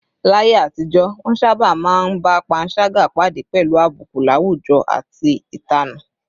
Láyé àtijọ́, wọ́n sábà máa ń bá panṣágà pàdé pẹ̀lú àbùkù láwùjọ àti ìtanù